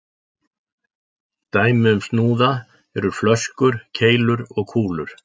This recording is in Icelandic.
Dæmi um snúða eru flöskur, keilur og kúlur.